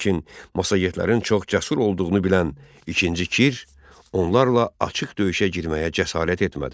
Lakin massagetlərin çox cəsur olduğunu bilən İkinci Kir onlarla açıq döyüşə girməyə cəsarət etmədi.